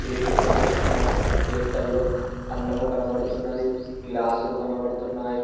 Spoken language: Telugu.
ప్లేట్లు కనిపిస్తున్నాయి ప్లేట్లల్లో అన్నము కనబడుతున్నది గ్లాసులు కనబడుతున్నాయి.